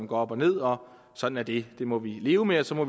går op og ned og sådan er det det må vi leve med og så må